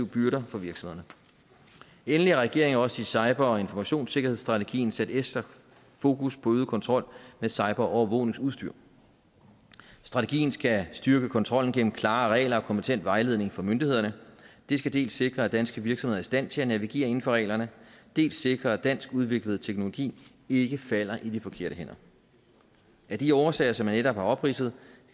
byrder for virksomhederne endelig har regeringen også i cyber og informationssikkerhedsstrategien sat ekstra fokus på øget kontrol med cyberovervågningsudstyr strategien skal styrke kontrollen gennem klare regler og kompetent vejledning fra myndighederne det skal dels sikre at danske virksomheder stand til at navigere inden for reglerne dels sikre at dansk udviklet teknologi ikke falder i de forkerte hænder af de årsager som jeg netop har opridset